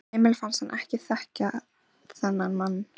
Emil fannst hann ekki þekkja þennan mann.